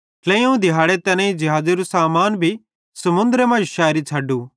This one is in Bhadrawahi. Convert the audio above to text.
ट्लेइयोवं दिहाड़े तैनेईं ज़िहाज़ेरू सामान भी समुन्द्रे मांजो शैरी छ़डू